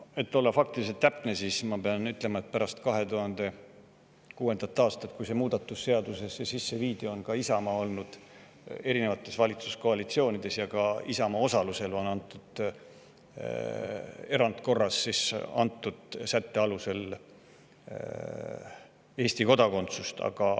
Et olla faktiliselt täpne, pean ma ütlema, et pärast 2006. aastat, kui see muudatus seadusesse sisse viidi, on ka Isamaa olnud erinevates valitsuskoalitsioonides ja ka Isamaa osalusel on antud mainitud sätte alusel Eesti kodakondsust erandkorras.